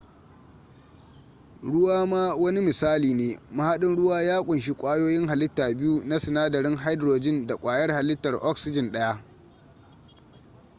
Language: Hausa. ruwa ma wani misali ne mahadin ruwa ya kunshi ƙwayoyin halitta biyu na sinadarin hydrogen da ƙwayar halittar oxygen daya